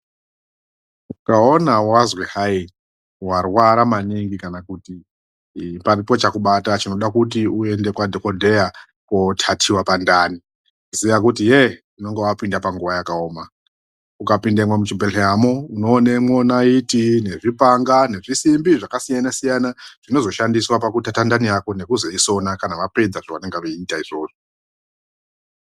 Ukaona wazwi hayi warwara maningi kana kuti paripo chakubata chinoda kuti uende kwadhokodheya koothathiwa pandani ziya kuti yeh unenge wapinda panguwa yakaoma. Ukapindemwo muchibhedhleramwo unoonamwo nayiti, zvimapanga nezvisimbi zvakasiyana siyana zvinozoshandiswa pakuthatha ndani yako nekuzoisona kana vapedza zvavanenge veiita izvozvo.